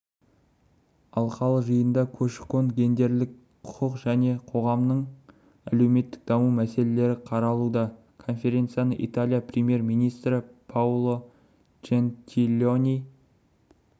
алқалы жиында көші-қон гендерлік құқық және қоғамның әлеуметтік даму мәселелері қаралуда коференцияны италия премьер-министрі паоло джентилони